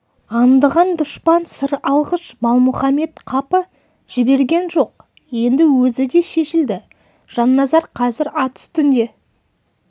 аңдыған дұшпан сыр алғыш балмұхаммед қапы жіберген жоқ енді өзі де шешілді жанназар қазір ат үстінде